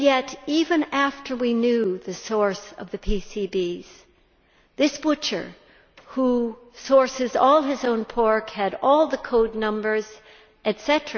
And yet, even after we knew the source of the PCBs, this butcher, who sources all his own pork, who had all the code numbers etc.